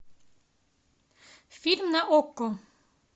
фильм на окко